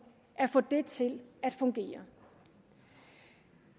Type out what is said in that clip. at få det til at fungere